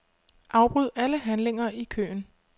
Afbryd alle handlinger i køen.